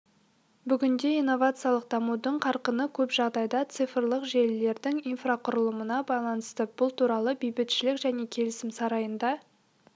бүгінде инновациялық дамудың қарқыны көп жағдайда цифрлық желілердің инфрақұрылымына байланысты бұл туралы бейбітшілік және келісім сарайында